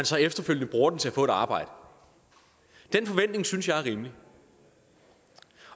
så efterfølgende bruger den til at få et arbejde den forventning synes jeg er rimelig